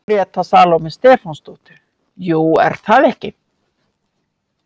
Gréta Salóme Stefánsdóttir: Jú, er það ekki?